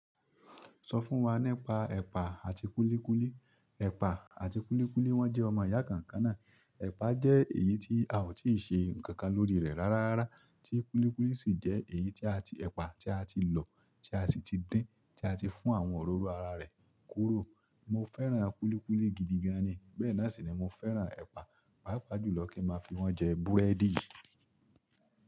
Sọ fún wa nípa ẹ̀pà àti kúlíkúlí. Ẹ̀pà àti kúlíkúlí wọ́n jẹ́ ọmọ ìyá kan náà ẹ̀pà jẹ́ èyí tí a ò tíì ṣe nǹkan lórí rẹ̀ rárá, tí kúlíkúlí sì jẹ́ èyí tí ẹ̀pà tí a ti lọ̀, tí a sì ti dín, tí a ti fún àwọn òróró ara rẹ̀ kúrò. Mo fẹ́ràn kúlíkúlí gidi gan ni, bẹ́ẹ̀ náà sì ni mo fẹ́ràn ẹ̀pà. Pàápàá jùlọ kí n máa fi wọ́n jẹ búrẹ́dì.